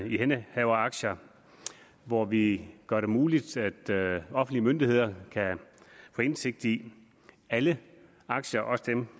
ihændehaveraktier hvor vi gør det muligt at offentlige myndigheder kan få indsigt i alle aktier også dem